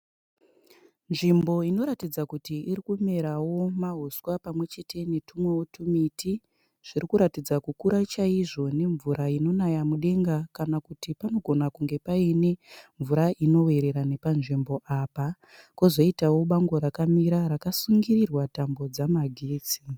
Nzvimbo inoratidza kuti irikumerawo mahuswa pamwechete netumwewo tumiti zvirikuratidza kukura chaizvo nemvura inokunaya mudenga kana kuti panogona kunge paine mvura inoverera nepanzvimbo apa. Kozoitawo bango rakamira rakasungirirwa tambo dzamagetsi.